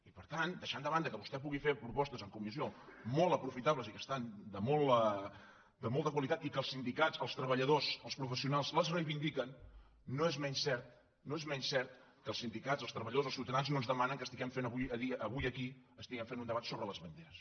i per tant deixant de banda que vostè pugui fer propostes en comissió molt aprofitables i que són de molta qualitat i que els sindicats els treballadors els professionals les reivindiquen no és menys cert no és menys cert que els sindicats els treballadors els ciutadans no ens demanen que fem avui aquí un debat sobre les banderes